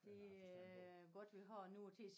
Det er godt vi har noget til at